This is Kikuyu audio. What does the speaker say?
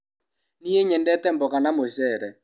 Niĩ nyendete mboga na mũcere.